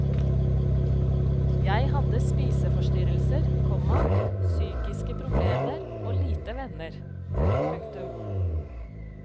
Jeg hadde spiseforstyrrelser, komma psykiske problemer og lite venner. punktum